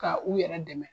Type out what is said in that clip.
Ka u yɛrɛ dɛmɛ